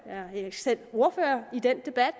er ikke selv ordfører i den debat